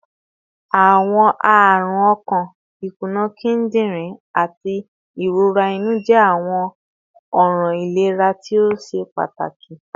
Awọn arun ọkan, ikuna kidirin, ati irora inu jẹ awọn ọran ilera to ṣe pataki